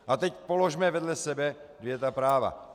A teď položme vedle sebe ta dvě práva.